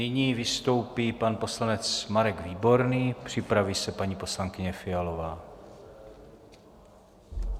Nyní vystoupí pan poslanec Marek Výborný, připraví se paní poslankyně Fialová.